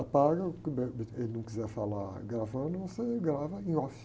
Apaga, o que de repente ele não quiser falar gravando, você grava em off.